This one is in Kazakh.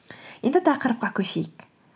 енді тақырыпқа көшейік